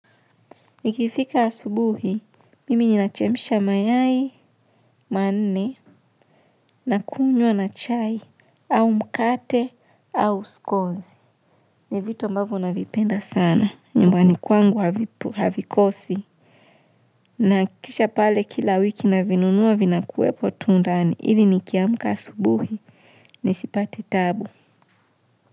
Nikifika asubuhi, mimi ninachemsha mayai, manne, na kunywa na chai, au mkate, au skonzi. Ni vitu ambavyo navipenda sana. Nyumbani kwangu havikosi. Nahakikisha pale kila wiki navinunua vinakuwepo tu ndani. Ili nikiamka asubuhi. Nisipate taabu.